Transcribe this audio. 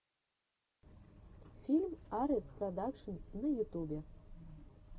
фильм арэс продакшн на ютубе